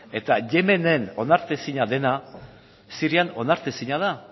eta yemenen onartezina dena sirian onartezina da